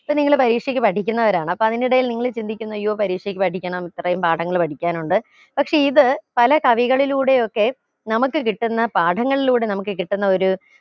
ഇപ്പൊ നിങ്ങൾ പരീക്ഷയ്ക്ക് പഠിക്കുന്നവരാണ് അപ്പൊ അതിന്റിടയിൽ നിങ്ങൾ ചിന്തിക്കുന്ന അയ്യോ പരീക്ഷയ്ക്ക് പഠിക്കണം ഇത്രയും പാഠങ്ങൾ പഠിക്കാനുണ്ട് പക്ഷെ ഇത് പല കവികളിലൂടെയൊക്കെ നമുക്ക് കിട്ടുന്ന പാടങ്ങളിലൂടെ നമുക്ക് കിട്ടുന്ന ഒരു